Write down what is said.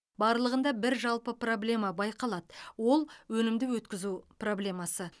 барлығында бір жалпы проблема байқалады ол өнімді өткізу проблемасы